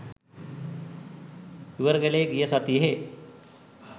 ඉවර කළේ ගිය සතියේ